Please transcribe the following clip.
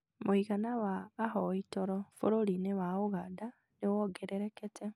mũigana wa ahoi toro bũrũri-inĩ wa Uganda nĩ wongererekete